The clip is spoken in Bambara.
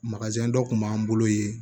dɔ kun b'an bolo ye